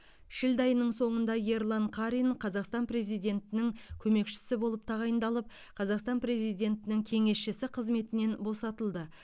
шілде айының соңында ерлан қарин қазақстан президентінің көмекшісі болып тағайындалып қазақстан президентінің кеңесшісі қызметінен босатылды